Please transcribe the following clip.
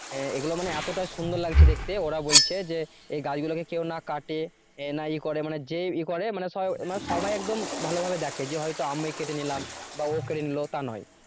এগুলো মানে এতটা সুন্দর লাগছে দেখতে, ওরা বলছে যে এই গাছগুলো কেউ না কাটে এ না ইয়ে করে মানে যে করে মানে সব মানে সবাই একদম ভালোভাবে দেখে যে হয়তো আমি কেটে নিলাম বা ও কেটে নিলো তা নয়।